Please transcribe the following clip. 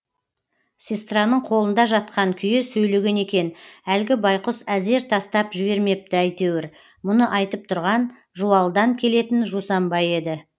сестраның қолында жатқан күйі сөйлеген екен әлгі байқұс әзер тастап жібермепті әйтеуір мұны айтып тұрған жуалыдан келетін жусанбай еді